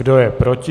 Kdo je proti?